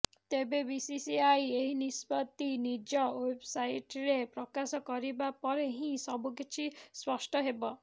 ତେବେ ବିସିସିଆଇ ଏହି ନିଷ୍ପତ୍ତି ନିଜ ୱେବସାଇଟରେ ପ୍ରକାଶ କରିବା ପରେ ହିଁ ସବୁ କିଛି ସ୍ପଷ୍ଟ ହେବ